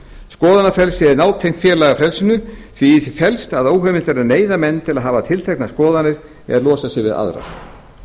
skoðanafrelsi er nátengt félagafrelsinu en í því felst að óheimilt er að neyða menn til að hafa tilteknar skoðanir eða losa sig við aðrar